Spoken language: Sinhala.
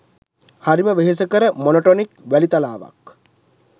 හරිම වෙහෙසකර මොනොටොනික් වැලිතලාවක්